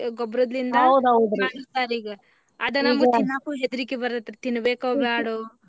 ಗೊಬ್ಬರದಿಂದ ಮಾಡಿರ್ತಾರಿ ಈಗ ಅದನ್ನ ತಿನ್ನಾಕು ಹೆದರ್ಕಿ ಬರುತ್ರಿ ತಿನಬೇಕೋ ಬೇಡೋ.